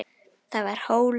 Það var hól.